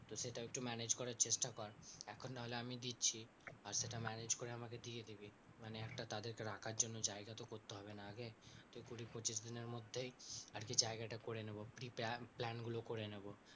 তো সেটাও একটু manage করার চেষ্টা কর এখন নাহলে আমি দিচ্ছি, আর সেটা manage করে আমাকে দিয়ে দিবি। মানে একটা তাদেরকে রাখার জন্য জায়গাতো করতে হবে না আগে, তো কুড়ি পঁচিশ দিনের মধ্যেই আরকি জায়গাটা করে নেব কি plan গুলো করে নেব।